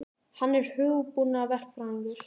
Hann er hugbúnaðarverkfræðingur.